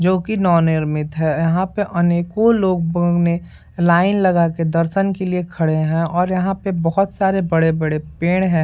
जो की नव-निर्मित है यहाँ पे अनेको लोग में लाइन लगा के दर्शन के लिए खड़े हैं और यहाँ पे बहुत सारे बड़े-बड़े पेड़ हैं।